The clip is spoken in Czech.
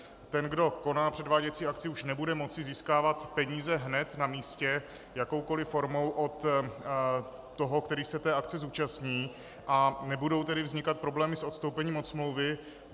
Ten, kdo koná předváděcí akci, už nebude moci získávat peníze hned na místě jakoukoli formou od toho, který se té akce zúčastní, a nebudou tedy vznikat problémy s odstoupením od smlouvy.